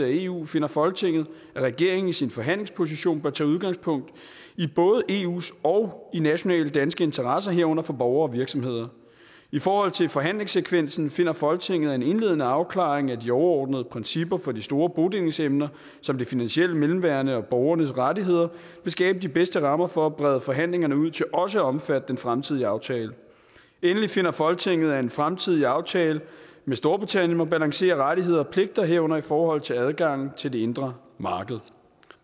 eu finder folketinget at regeringen i sin forhandlingsposition bør tage udgangspunkt i både eus og nationale danske interesser herunder for borgere og virksomheder i forhold til forhandlingssekvensen finder folketinget at en indledende afklaring af de overordnede principper for de store bodelingsemner som det finansielle mellemværende og borgernes rettigheder vil skabe de bedste rammer for at brede forhandlingerne ud til også at omfatte den fremtidige aftale endelig finder folketinget at en fremtidig aftale med storbritannien må balancere rettigheder og pligter herunder i forhold til adgangen til det indre marked